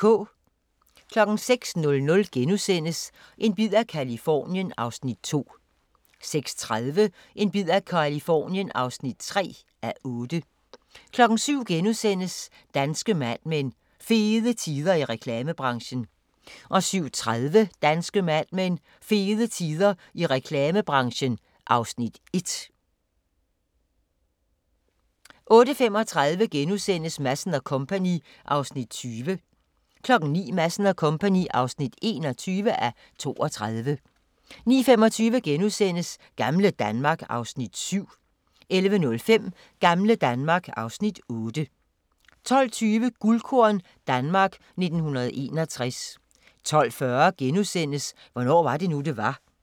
06:00: En bid af Californien (2:8)* 06:30: En bid af Californien (3:8) 07:00: Danske Mad Men: Fede tider i reklamebranchen * 07:30: Danske Mad Men: Fede tider i reklamebranchen (Afs. 1) 08:35: Madsen & Co. (20:32)* 09:00: Madsen & Co. (21:32) 09:25: Gamle Danmark (Afs. 7)* 11:05: Gamle Danmark (Afs. 8) 12:20: Guldkorn - Danmark 1961 12:40: Hvornår var det nu, det var? *